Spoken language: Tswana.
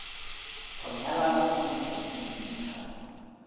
go nyalana sentle le dintlha